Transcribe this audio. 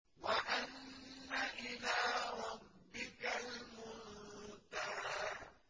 وَأَنَّ إِلَىٰ رَبِّكَ الْمُنتَهَىٰ